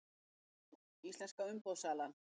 Mynd: Íslenska umboðssalan